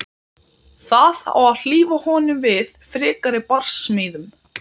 Og spila á litlu harmónikkuna sína?